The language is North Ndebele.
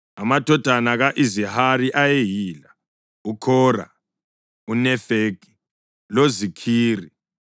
Amadodana ka-Izihari ayeyila; uKhora, uNefegi loZikhiri.